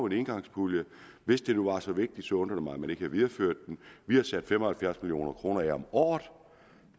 en engangspulje hvis det nu var så vigtigt undrer det mig at man ikke videreførte den vi har sat fem og halvfjerds million kroner af om året